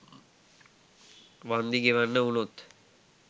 වන්දි ගෙවන්න වුනොත්?